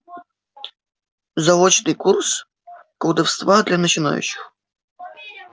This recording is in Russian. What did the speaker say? заочный курс колдовства для начинающих